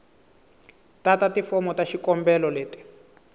tata tifomo ta xikombelo leti